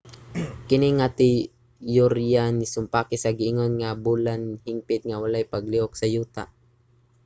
kini nga teyorya nisumpaki sa giingon nga ang bulan hingpit nga walay paglihok sa yuta